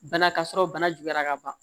Bana ka sɔrɔ bana juguyara ka ban